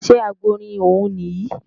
Ṣé Àgbọ̀nrín ọ̀ún nìyí?